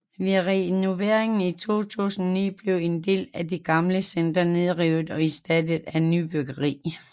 Ved renoveringen i 2009 blev en del af det gamle center nedrevet og erstattet af nybyggeri